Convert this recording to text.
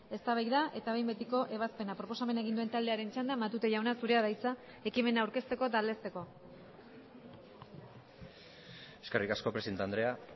eztabaida eta behin betiko ebazpena proposamena egin duen taldearen txanda matute jauna zurea da hitza ekimena aurkezteko eta aldezteko eskerrik asko presidente andrea